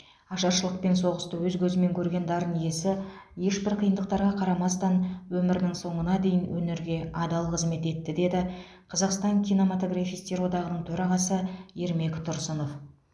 ашаршылық пен соғысты өз көзімен көрген дарын иесі ешбір қиындықтарға қарамастан өмірінің соңына дейін өнерге адал қызмет етті деді қазақстан кинематографистер одағының төрағасы ермек тұрсынов